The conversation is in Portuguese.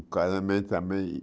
O casamento também